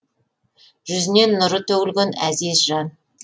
жүзінен нұры төгілген әзиз жан